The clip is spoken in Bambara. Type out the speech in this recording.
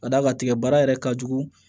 Ka d'a kan tigɛbara yɛrɛ ka jugu